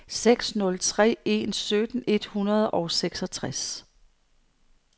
seks nul tre en sytten et hundrede og seksogtres